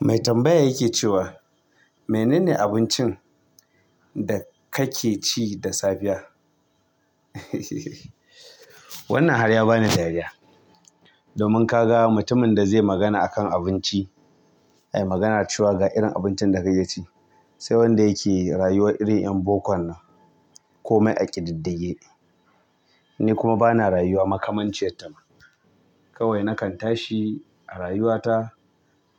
Mai tambaya yake cewa, "Menene abincin da kake ci da safiya?" Wannan har ya bani da dariya. Domin ka ga mutumin da zai magana akan abinci, ayi magana cewa ga irin abincin da kake ci, sai wanda yake rayuwar irin 'yan bokon nan ko mai aƙididdige. Ni kuma ba na rayuwa makamanciyarta ma. Kawai nakan tashi a rayuwata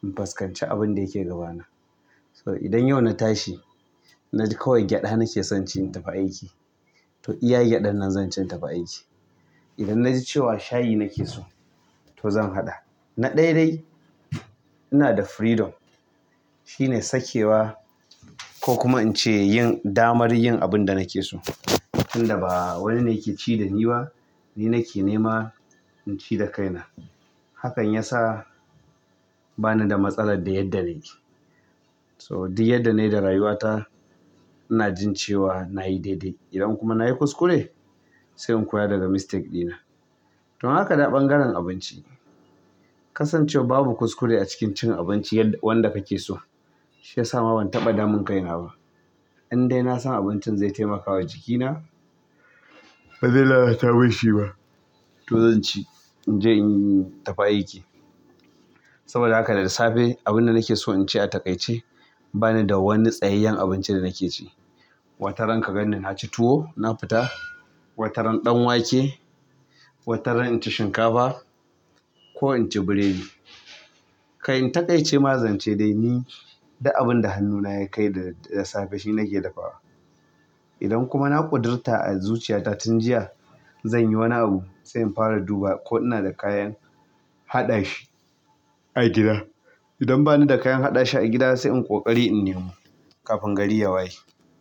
in fuskanci abin da yake gabana. So idan yau na tashi, na ji kawai gyaɗa nake son ci in tafi aiki, to iya gyaɗan nan zan ci in tafi aiki. Idan na ji cewa shayi nake so, to zan haɗa. Na ɗaya dai ina da freedom. Shi ne sakewa ko kuma in ce yin damar yin abin da nake so. Inda ba wani ne yake ci da ni ba, ni nake nema in ci da kaina. Hakan ya sa bani da matsalar da yadda nake. To duk yadda nayi da rayuwa ta ina jin cewa nayi daidai, idan kuma nayi kuskure sai in koya daga mistake ɗina to in aka dawo ɓangaren abinci, kasancewar babu kuskure a cikin cin abinci wanda kake so, shi ya sa ma ban taɓa damun kaina ba. Indai na san abincin zai taimaka wa jikina, ba zai lalata min shi ba, to zan ci in je in tafi aiki. Saboda haka da safe, abin da nake so in ci ya taƙaice. Bani da wani tsayayyen abinci da nake ci. Wataran ka ganni na ci tuwo na fita, wataran ɗan wake, wataran in ci shinkafa ko in ci burodi. Kai in taƙaice ma zance dai ni duk abin da hannuna ya kai da safe shi nake dafawa. Idan kuma na ƙudurta a zuciyata tun jiya, zan yi wani abu sai in fara duba ko ina da kayan haɗa shi a gida. Idan bani da kayan haɗa shi a gida sai in ƙoƙari in nemo kafin gari ya waye.